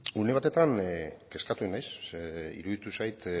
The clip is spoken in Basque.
zurea da hitza une batetan kezkatu egin naiz ze iruditu zait